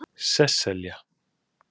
Sesselja